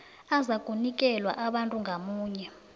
azakunikelwa abantu ngamunye